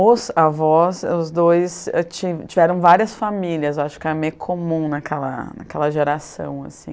Os avós, os dois tiveram tiveram várias famílias, acho que era meio comum naquela naquela geração assim.